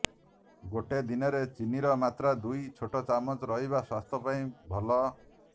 ଗୋଟେ ଦିନରେ ଚିନିର ମାତ୍ରା ଦୁଇ ଛୋଟ ଚାମଚ ରହିବା ସ୍ୱାସ୍ଥ୍ୟ ପାଇଁ ଭଲ